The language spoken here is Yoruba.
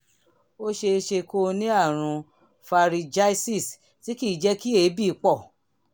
ó ṣe é ṣe kó o ní àrùn pharyngitis tí kì í jẹ́ kí èébì pọ̀